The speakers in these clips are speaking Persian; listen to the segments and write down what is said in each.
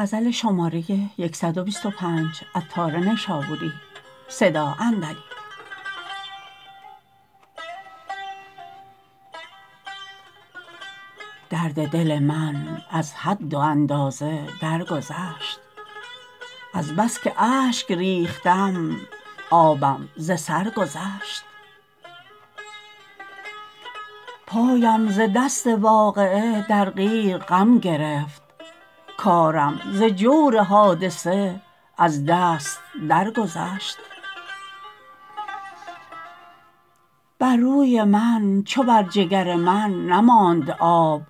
درد دل من از حد و اندازه درگذشت از بس که اشک ریختم آبم ز سر گذشت پایم ز دست واقعه در قیر غم گرفت کارم ز جور حادثه از دست درگذشت بر روی من چو بر جگر من نماند آب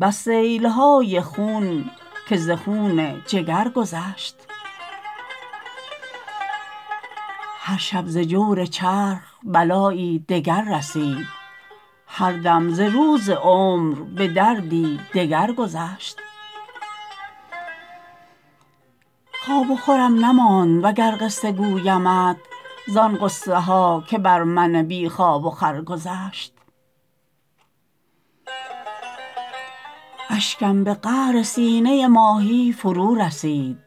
بس سیل های خون که ز خون جگر گذشت هر شب ز جور چرخ بلایی دگر رسید هر دم ز روز عمر به دردی دگر گذشت خواب و خورم نماند و گر قصه گویمت زان غصه ها که بر من بی خواب و خور گذشت اشکم به قعر سینه ماهی فرو رسید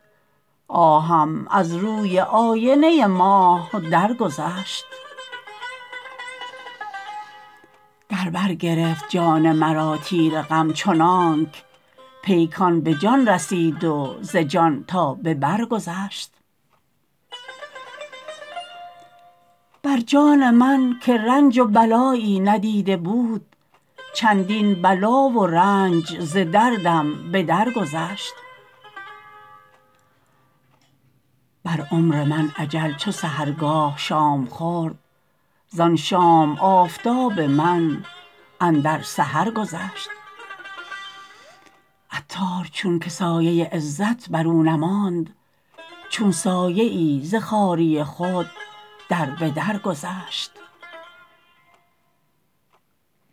آهم ز روی آینه ماه درگذشت در بر گرفت جان مرا تیر غم چنانک پیکان به جان رسید وز جان تا به بر گذشت بر جان من که رنج و بلایی ندیده بود چندین بلا و رنج ز دردم بتر گذشت بر عمر من اجل چو سحرگاه شام خورد زان شام آفتاب من اندر سحر گذشت عطار چون که سایه عزت بر او نماند چون سایه ای ز خواری خود در به در گذشت